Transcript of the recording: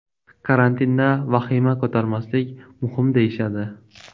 Karantinda vahima ko‘tarmaslik muhim deyishadi.